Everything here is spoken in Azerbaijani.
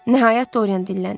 Nəhayət Dorian dilləndi.